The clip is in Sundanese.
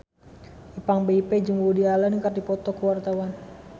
Ipank BIP jeung Woody Allen keur dipoto ku wartawan